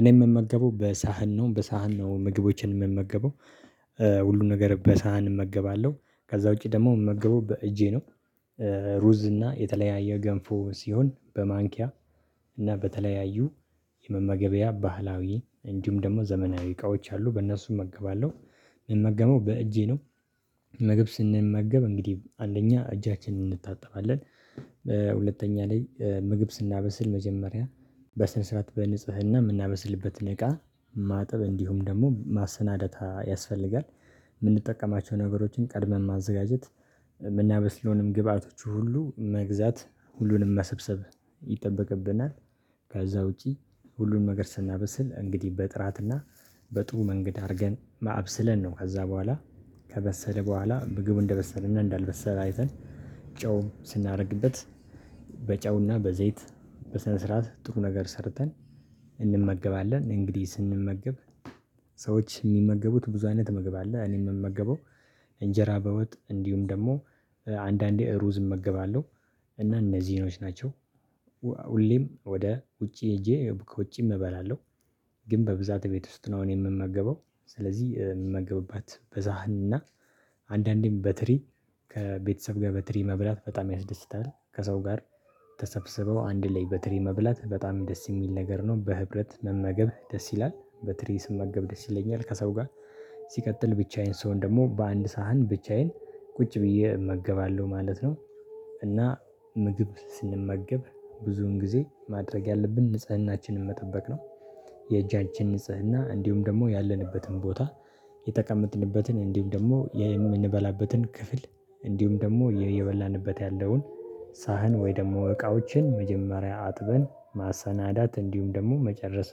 እኔ የምመገበው በሳህን ነው በሳህን ነው ምግቦችን የምመገበው ሁሉን ነገር በሳህን እመገባለሁ ከዛ ውጪ ደግሞ ምመገበው በእጄ ነው። ሩዝ እና የተለያየ ገንፎ ሲሆን በማንኪያ እና በተለያዩ የመመገቢያ ባህላዊ እንዲሁም ደግሞ ዘመናዊ እቃዎች አሉ በእነሱ እመገባለሁ እምመገበው በእጄ ነው። ምግብ ስንመገብ እንግዲህ አንደኛ እጃችንን እንታጠባለን። ሁለተኛ ላይ ምግብ ስናበስል መጀመሪያ በስነ ስርዓት በንጽህና የምናበስልበትን እቃ ማጠብ እንዲሁም ደግሞ ማሰናደታ ያስፈልጋል። የምንጠቀማቸው ነገሮችን ቀድመን ማዘጋጀት የምናበስለውንም ግብአቶቹ ሁሉ መግዛት ሁሉንም መሰብሰብ ይጠበቅብናል። ከዛ ውጪ ሁሉንም ነገር ስናበስል እንግዲህ በጥራትና በጥሩ መንገድ አድርገን ማ አብስለን ነው ከዛ በኋላ ከበሰለ በኋላ ምግቡ እንደበሰለ እና እንዳልበሰለ አይተን ጨው ስናደርግበት በጨውና በዘይት በስነ ስርዓት ጥሩ ነገር ሰርተን እንመገባለን። እንግዲህ ስንመገብ ሰዎች የሚመገቡት ብዙ አይነት ምግብ አለ። እኔ የምመገበው እንጀራ በወጥ እንዲሁም ደግሞ አንዳንዴ እሩዝ እመገባለሁ እና እነዚህ ኖች ናቸው። ሁሌም ወደ ውጪ ሄጄ ከውጪም እበላለሁ። ግን በብዛት ቤት ውስጥ ነው እኔ የምመገበው ስለዚህ የምመገብባት በዛህንና አንዳንዴም በትሪ ከቤተሰብ ጋር በትሪ መብላት በጣም ያስደስታል ከሰው ጋር ተሰብስበው አንድ ላይ በትሪ መብላት በጣም ደስ የሚል ነገር ነው። በህብረት መመገብ ደስ ይላል በትሪ ስመገብ ደስ ይለኛል ከሰው ጋር ሲቀጥል ብቻዬን ስሆን ደግሞ በአንድ ሳህን ብቻዬን ቁጭ ብዬ እመገባለሁ ማለት ነው። እና ምግብ ስንመገብ ብዙን ጊዜ ማድረግ ያለብን ንጽህናችንን መጠበቅ ነው። የእጃችን ንጽህና እንዲሁም ደግሞ ያለንበትን ቦታ የተቀመጥንበትን እንዲሁም ደግሞ የምንበላበትን ክፍል እንዲሁም ደግሞ የበላንበት ያለውን ሳህን ወይ ደግሞ እቃዎችን መጀመሪያ አጥበን ማሰናዳት እንዲሁም ደግሞ መጨረስ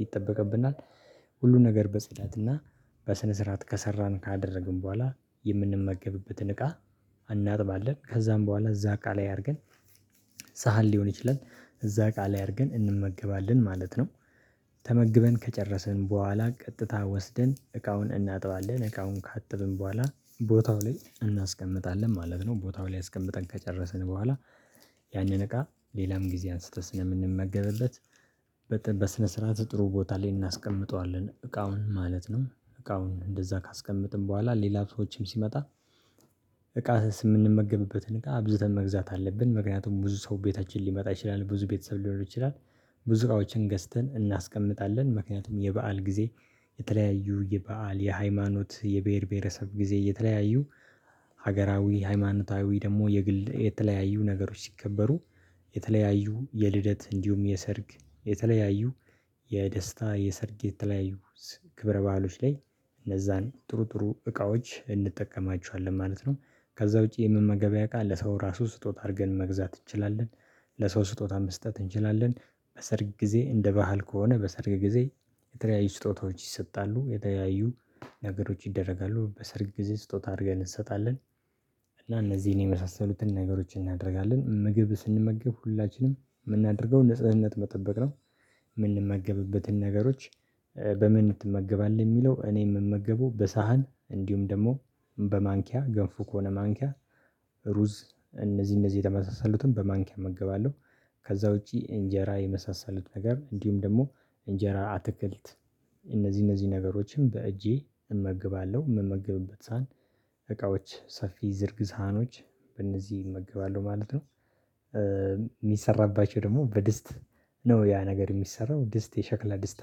ይጠበቅብናል። ሁሉም ነገር በጽዳትና በስነ ስርዓት ከሰራን ካደረግን በኋላ የምንመገብበትን እቃ እናጥባለን ከዛም በኋላ እዛ እቃ ላይ አድርገን ሳህን ሊሆን ይችላል እዛ እቃ አድርገን እንመገባለን ማለት ነው። ተመግበን ከጨረስን በኋላ ቀጥታ ወስደን እቃውን እናጥባለን እቃውን ካጠብን በኋላ ቦታው ላይ እናስቀምጣለን ማለት ነው። ቦታው ላይ አስቀምጠን ከጨረስን በኋላ ያንን እቃ ሌላም ጊዜ አንስቶ ስለምንመገብበት በስነ ስርዓት ጥሩ ቦታ ላይ እናስቀምጠዋለን እቃውን ማለት ነው። እቃውን እንደዛ ካስቀመጥን በኋላ ሌላ ሰዎችም ሲመጣ እቃስ የምንመገብበትን እቃ አብዝተን መግዛት አለብን ምክንያቱም ብዙ ሰው ቤታችን ሊመጣ ይችላል ብዙ ቤተሰብ ሊኖር ይችላል። ብዙ እቃዎችን ገዝተን እናስቀምጣለን ምክንያቱም የበአል ጊዜ የተለያዩ የበአል የሃይማኖት የብሄር ብሄረሰብ ጊዜ የተለያዩ ሀገራዊ ሃይማኖታዊ ደግሞ የግል የተለያዩ ነገሮች ሲከበሩ የተለያዩ የልደት እንዲሁም የሰርግ የተለያዩ የደስታ የሰርግ የተለያዩ ክብረ ባህሎች ላይ እነዛን ጥሩ ጥሩ እቃዎች እንጠቀማቸዋለን ማለት ነው። ከዛ ውጪ የመመገበያ እቃ ለሰው ራሱ ስጦታ አድርገን መግዛት እንችላለን ለሰው ስጦታ መስጠት እንችላለን በሰርግ ጊዜ እንደ ባህል ከሆነ በሰርግ ጊዜ የተለያዩ ስጦታዎች ይሰጣሉ የተለያዩ ነገሮች ይደረጋሉ በሰርግ ጊዜ ስጦታ አድርገን እንሰጣለን። እና እነዚህን የመሳሰሉትን ነገሮችን እናደርጋለን ምግብ ስንመገብ ሁላችንም የምናደርገው ንጽህነት መጠበቅ ነው። የምንመገብበትን ነገሮች በምን ትመገባለህ የሚለው እኔ የምመገበው በሳህን እንዲሁም ደግሞ በማንኪያ ገንፎ ከሆነ ማንኪያ ሩዝ እነዚህ እነዚህ የተመሳሰሉትን በማንኪያ እመገባለሁ ከዛ ውጪ እንጀራ የመሳሰሉት ነገር እንዲሁም ደግሞ እንጀራ አትክልት እነዚህ እነዚህ ነገሮችን በእጄ እመግባለሁ የምመግብበት ሳህን እቃዎች ሰፊ ዝርግ ሳህኖች በእነዚህ እመገባለሁ ማለት ነው። የሚሰራባቸው ደግሞ በድስት ነው ያ ነገር የሚሰራው ድስት የሸክላ ድስት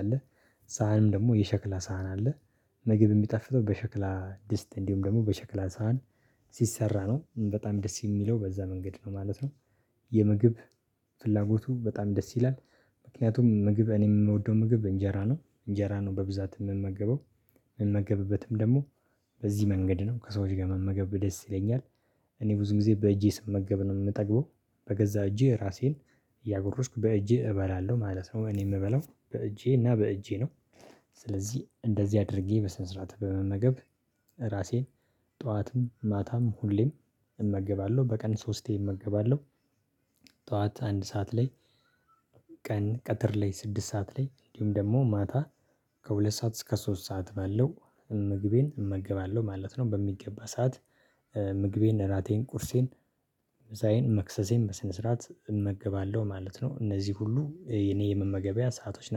አለ። ሳህንም ደግሞ የሸክላ ሳህን አለ። ምግብ የሚጣፍጠው በሸክላ ድስት እንዲሁም ደግሞ በሸክላ ሳህን ሲሰራ ነው በጣም ደስ የሚለው በዛ መንገድ ነው ማለት ነው። የምግብ ፍላጎቱ በጣም ደስ ይላል ምክንያቱም ምግብ እኔም የምወደው ምግብ እንጀራ ነው እንጀራ ነው በብዛት የምመገበው የምመገብበትም ደግሞ በዚህ መንገድ ነው ከሰዎች ጋር መመገብ ደስ ይለኛል። እኔ ብዙ ጊዜ በእጄ ስመገብ ነው የምጠግበው በገዛ እጄ ራሴን እያጎረስኩ በእጄ እበላለሁ ማለት ነው እኔ የምበላው በእጄ እና በእጄ ነው። ስለዚህ እንደዚህ አድርጌ በስነ ስርዓት በመመገብ ራሴን ጠዋትም ማታም ሁሌም እመገባለሁ በቀን ሶስቴ እመገባለሁ። ጠዋት አንድ ሰዓት ላይ ቀን ቀትር ላይ ስድስት ሰዓት ላይ እንዲሁም ደግሞ ማታ ከሁለት ሰዓት እስከ ሶስት ሰዓት ባለው ምግቤን እመገባለሁ ማለት ነው። በሚገባ ሰዓት ምግቤን እራቴን ቁርሴን ምሳዬን መክሰሴን በስነ ስርዓት እመገባለሁ ማለት ነው። እነዚህ ሁሉ የኔ የመመገቢያ ሰአቶች ናቸው